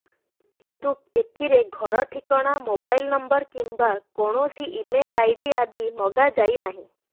କିନ୍ତୁ ଏଥିରେ ଘର ଠିକଣା ମୋବାଇଲ ନମ୍ବର କିମ୍ବା କୌଣସି ଇମେଲ ଆଇଡି ଆଦି ମାଗା ଯାଇନାହିଁ